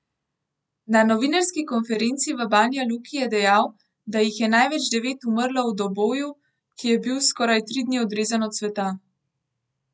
Na novinarski konferenci v Banja Luki je dejal, da jih je največ, devet, umrlo v Doboju, ki je bil skoraj tri dni odrezan od sveta.